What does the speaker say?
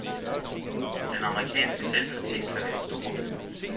Den amerikanske selvkritik kan være stor.